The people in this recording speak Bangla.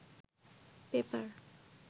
পেপার